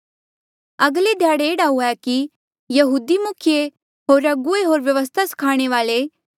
अगले ध्याड़े एह्ड़ा हुएया कि यहूदी मुखिये होर अगुवे होर व्यवस्था स्खाणे वाल्ऐ